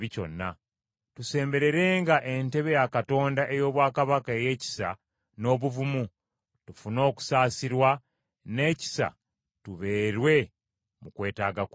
Kale tusembererenga entebe ya Katonda ey’obwakabaka ey’ekisa n’obuvumu, tufune okusaasirwa n’ekisa tubeerwe mu kwetaaga kwaffe.